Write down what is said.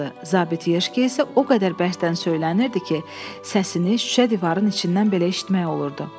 Zabit Yeşki isə o qədər bəsdən söylənirdi ki, səsini şüşə divarın içindən belə eşitmək olurdu.